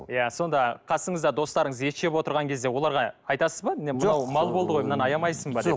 иә сонда қасыңызда достарыңыз ет жеп отырған кезде оларға айтасыз ба мал болды ғой мынаны аямайсың ба деп